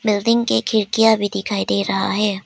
Building के खिड़कियां भी दिखाई दे रहा है।